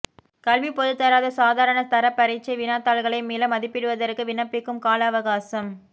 கல்விப் பொதுத்தராதர சாதாரண தரப் பரீட்சை வினாத்தாள்களை மீள மதிப்பீடுவதற்கு விண்ணப்பிக்கும் கால அவகாசம் இ